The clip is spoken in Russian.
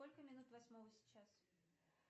сколько минут восьмого сейчас